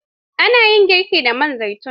Ana yin girki da man zaitun